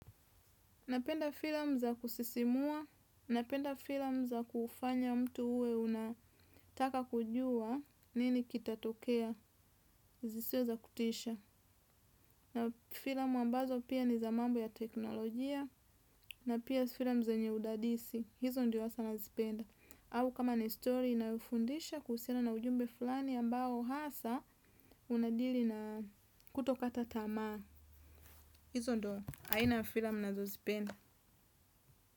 Napenda filamu za kusisimua, napenda filamu za kufanya mtu uwe unataka kujua nini kitatokea, zisiwe za kutisha. Na filamu ambazo pia ni za mambo ya teknolojia, na pia filamu zenye udadisi, hizo ndio hasa nazipenda. Au kama ni story inayofundisha kuhusiana na ujumbe fulani ambao hasa unadili na kutokata tamaa. Hizo ndio, aina ya filamu nazozipenda.